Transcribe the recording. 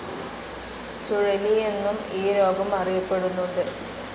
ചുഴലി എന്നും ഈ രോഗം അറിയപ്പെടുന്നുണ്ട്.